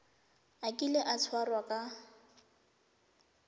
a kile a tshwarwa ka